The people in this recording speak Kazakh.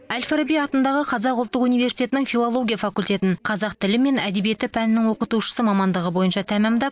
әл фараби атындағы қазақ ұлттық университетінің филология факультетін қазақ тілі мен әдебиеті пәнінің оқытушысы мамандығы бойынша тәмамдап